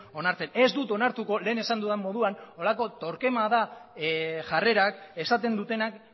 onartzen ez dut onartuko lehen esan dudan moduan holako torquemada jarrerak esaten dutenak